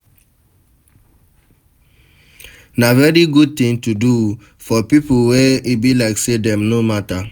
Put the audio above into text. Na very good thing to do for pipo wey e be like say dem no matter